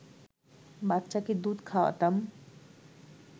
বাচ্চাকে দুধ খাওয়াতাম